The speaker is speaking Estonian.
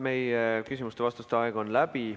Meie küsimuste-vastuste aeg on läbi.